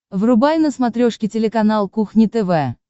врубай на смотрешке телеканал кухня тв